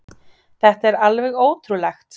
Þetta er alveg ótrúlegt.